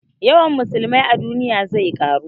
Yawan musulmai a duniya zai ƙaru